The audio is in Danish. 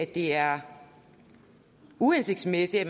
det er uhensigtsmæssigt at